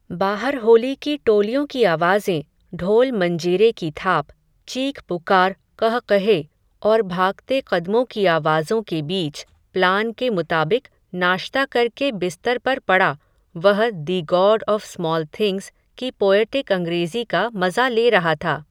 बाहर होली की टोलियों की आवाज़ें, ढोलमंजीरे की थाप, चीखपुकार क़ह क़हे, और भागते क़दमों की आवाज़ों के बीच, प्लान के मुताबिक नाश्ता करके बिस्तर पर पड़ा, वह the God of Small Things की पोयटिक अंग्रेज़ी का मज़ा ले रहा था